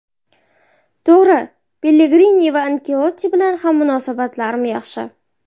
To‘g‘ri, Pellegrini va Anchelotti bilan ham munosabatlarim yaxshi.